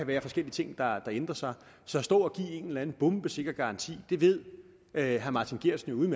være forskellige ting der ændrer sig så at stå og give en eller anden bombesikker garanti ved herre martin geertsen